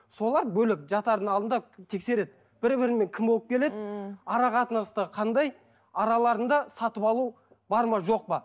солар бөлек жатардың алдында тексереді бір біріне кім болып келеді ммм ара қатынастары қандай араларында сатып алу бар ма жоқ па